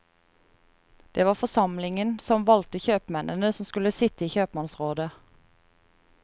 Det var forsamlingen som valgte kjøpmennene som skulle sitte i kjøpmannsrådet.